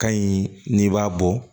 Ka ɲi n'i b'a bɔ